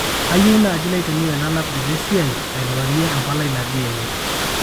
kayieu naaji naitumia ena laptop esiai airiwarie empalai natii ene